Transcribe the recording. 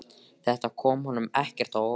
Þetta kom honum ekkert á óvart.